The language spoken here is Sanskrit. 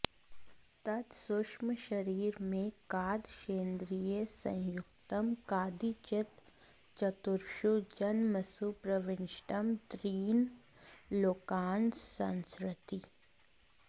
तत्सूक्ष्मशरीरमेकादशेन्द्रियसंयुक्तं कदाचित् चतुर्षु जन्मसु प्रविष्टं त्रीन् लोकान् संसरति